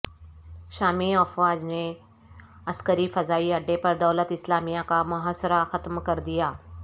شامی افواج نے عسکری فضائی اڈے پر دولت اسلامیہ کا محاصرہ ختم کر دیا